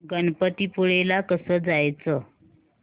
गणपतीपुळे ला कसं जायचं